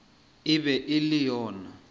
e be e le yona